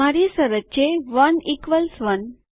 મારી શરત છે 1 1